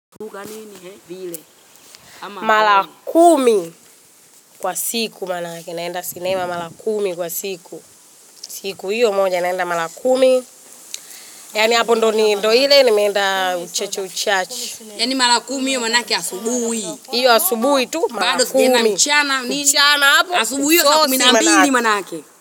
Mara kumi kwa siku maanake naenda sinema mara kumi kwa siku. Siku hiyo moja naenda mara kumi, yaani hapo ndiyo ni ndiyo ile nimeenda uchache uchache. Yaani mara kumi hiyo maanake asubuhi. Hiyo asubuhi tu, mara kumi. Mchana hapo, asubuhi weka kumi na mbili maanake.